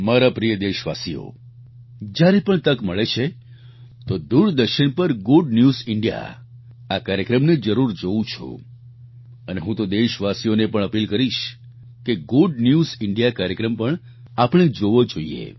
મારા પ્રિય દેશવાસીઓ જ્યારે પણ તક મળે છે તો દૂરદર્શન પર ગુડ ન્યૂઝ ઇન્ડિયા આ કાર્યક્રમને જરૂર જોવું છું અને હું તો દેશવાસીઓને પણ અપીલ કરીશ કે ગુડ ન્યૂઝ ઇન્ડિયા કાર્યક્રમ પણ આપણે જોવો જોઈએ